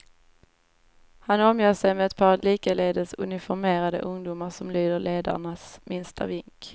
Han omger sig med ett par likaledes uniformerade ungdomar som lyder ledarens minsta vink.